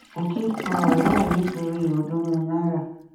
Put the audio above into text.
òkè pa ọrẹ ẹ nítorí ọọdúnrún náírà